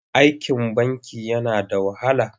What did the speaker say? Aikin banki yana da wahala.